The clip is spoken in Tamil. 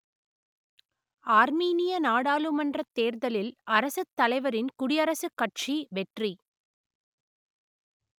ஆர்மீனிய நாடாளுமன்றத் தேர்தலில் அரசுத்தலைவரின் குடியரசுக் கட்சி வெற்றி